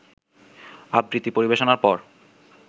আবৃত্তি পরিবেশনার পর